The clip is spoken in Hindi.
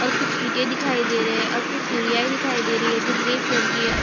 और कुछ ईंटे दिखाई दे रही है और कुछ सीढ़िया भी दिखाई दे रही हैं जो ग्रे कलर की है।